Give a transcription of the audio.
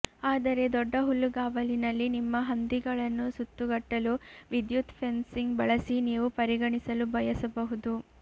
ಆದರೆ ದೊಡ್ಡ ಹುಲ್ಲುಗಾವಲಿನಲ್ಲಿ ನಿಮ್ಮ ಹಂದಿಗಳನ್ನು ಸುತ್ತುಗಟ್ಟಲು ವಿದ್ಯುತ್ ಫೆನ್ಸಿಂಗ್ ಬಳಸಿ ನೀವು ಪರಿಗಣಿಸಲು ಬಯಸಬಹುದು